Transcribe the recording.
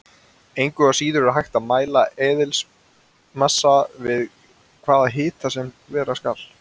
Engu að síður er hægt að mæla eðlismassa við hvaða hita sem vera skal.